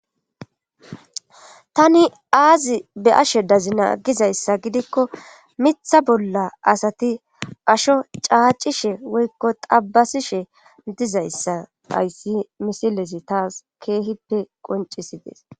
tani aazi be'ashe dazina gizayssa gidikko mitha bolla asati asho caacishe woykko xabasishe dizayssa hayssi misilezi taas keehippe qoncisides